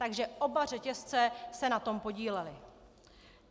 Takže oba řetězce se na tom podílely.